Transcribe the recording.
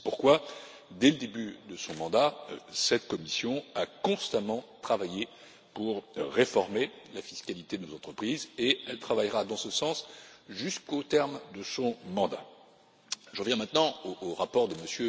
C'est pourquoi, dès le début de son mandat, cette Commission a constamment travaillé pour réformer la fiscalité de nos entreprises et elle travaillera dans ce sens jusqu'au terme de son mandat. J'en viens maintenant au rapport de M.